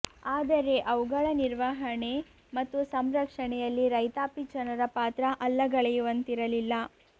ಆದರೆ ಅವುಗಳ ನಿರ್ವಹಣೆ ಮತ್ತು ಸಂರಕ್ಷಣೆಯಲ್ಲಿ ರೈತಾಪಿ ಜನರ ಪಾತ್ರ ಅಲ್ಲಗಳೆಯುವಂತಿರಲಿಲ್ಲ